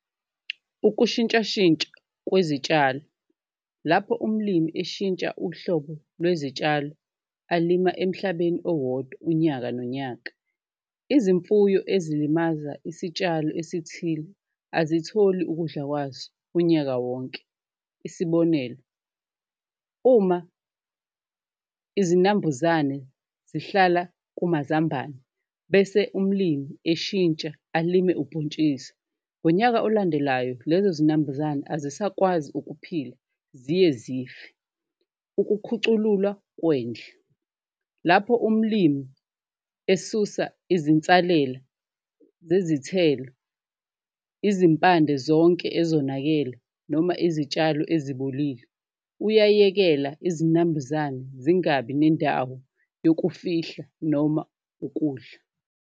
Ukushintshashintsha kwezitshalo lapho umlimi eshintsha uhlobo lwezitshalo alima emhlabeni owodwa unyaka nonyaka, izimfuyo ezilimaza isitshalo esithile azitholi ukudla kwazo unyaka wonke. Isibonelo, uma izinambuzane zihlala kumazambane bese umlimi eshintsha alime ubhontshisi ngonyaka olandelayo lezo zinambuzane azisakwazi ukuphila ziye zife. Ukukhucululwa kwendle lapho umlimi esusa izinsalela zezithelo, izimpande zonke ezonakele noma izitshalo ezibolile uyayekela izinambuzane zingabi nendawo yokufihla noma ukudla.